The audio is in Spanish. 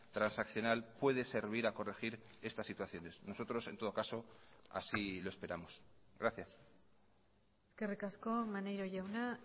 transaccional puede servir a corregir estas situaciones nosotros en todo caso así lo esperamos gracias eskerrik asko maneiro jauna